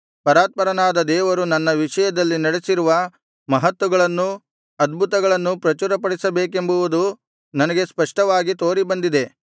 ಪರಾತ್ಪರನಾದ ದೇವರು ನನ್ನ ವಿಷಯದಲ್ಲಿ ನಡೆಸಿರುವ ಮಹತ್ತುಗಳನ್ನೂ ಅದ್ಭುತಗಳನ್ನೂ ಪ್ರಚುರಪಡಿಸಬೇಕೆಂಬುವುದು ನನಗೆ ಸ್ಪಷ್ಟವಾಗಿ ತೋರಿಬಂದಿದೆ